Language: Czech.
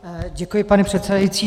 Děkuji, pane předsedající.